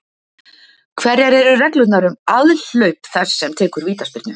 Hverjar eru reglurnar um aðhlaup þess sem tekur vítaspyrnu?